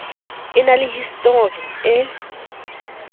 e na le histori e